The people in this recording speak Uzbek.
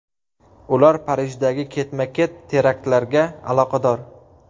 Ular Parijdagi ketma-ket teraktlarga aloqador.